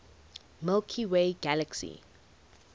milky way galaxy